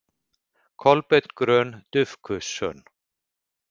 Kolbeinn Grön Dufgusson